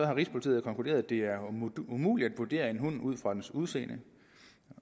rigspolitiet konkluderet at det er umuligt at vurdere en hund ud fra dens udseende